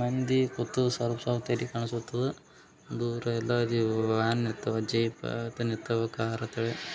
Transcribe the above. ಮಂದಿ ಲುತು ಸ್ವಲ್ಪ ಸ್ವಲ್ಪ ಕಾಣಿಸ್ತಾ ಇರ್ತದ ದೂರ ಎಲ್ಲ ವ್ಯಾನ್ ನಿಠಾವ ಜೀಪ್ ಕಾರ್ ನಿಠಾವು ಅಂತ ಹೇಳಿ.